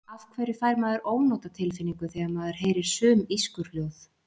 Af hverju fær maður ónotatilfinningu þegar maður heyrir sum ískurhljóð?